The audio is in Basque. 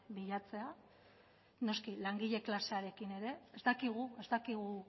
bilatzea noski langile klasearekin ere ez dakigu ez dakigu